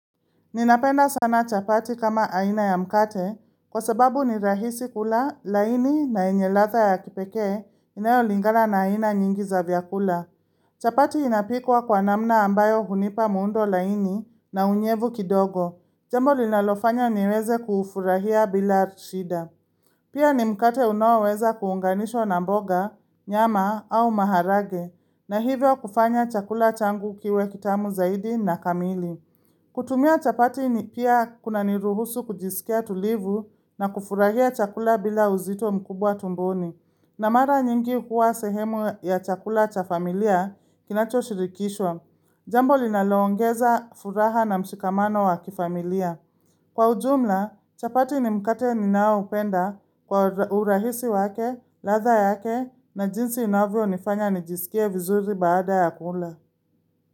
Ninapenda sana chapati kama aina ya mkate kwa sababu ni rahisi kula laini na enyelatha ya kipekee inayolingala na aina nyingi za vyakula. Chapati inapikwa kwa namna ambayo hunipa muundo laini na unyevu kidogo. Jambo linalofanya niweze kufurahia bila rshida. Pia ni mkate unaoweza kuunganishwa na mboga, nyama au maharage na hivyo kufanya chakula changu kiwe kitamu zaidi na kamili. Kutumia chapati ni pia kuna niruhusu kujisikia tulivu na kufurahia chakula bila uzito mkubwa tumboni. Na mara nyingi huwa sehemu ya chakula cha familia kinacho shirikishwa. Jambo linaloongeza furaha na mshikamano wa kifamilia. Kwa ujumla, chapati ni mkate ninao upenda kwa urahisi wake, latha yake na jinsi inavyo nifanya nijisikie vizuri baada ya kula.